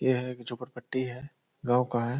यह एक झोपर पट्टी है गावं का है।